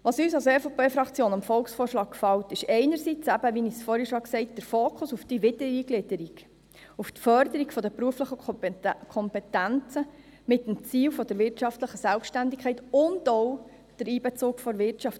Was uns als EVP-Fraktion am Volksvorschlag gefällt, ist einerseits eben – wie ich schon gesagt habe – der Fokus auf die Wiedereingliederung, auf die Förderung der beruflichen Kompetenzen mit dem Ziel der wirtschaftlichen Selbstständigkeit und auch der Einbezug der Wirtschaft.